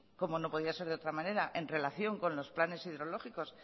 como no podía ser de otra manera en relación con los planes hidrológicos